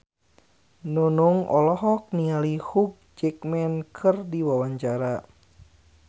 Nunung olohok ningali Hugh Jackman keur diwawancara